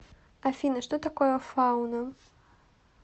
афина что такое фауна